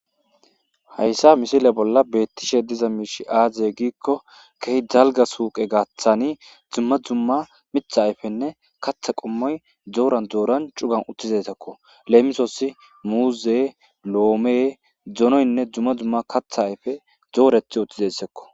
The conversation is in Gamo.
Hayssa misile bolla beettishe diza miish aaziye giikko kehi dalga suuqe gaaththani dzumma dzumma mitha ayfenne katha qommoy dooran dooran cugan uttizesekko leemisoossi muuze loome dzonoynne dzumma dzumma katha ayfe zoorethi uttizessekko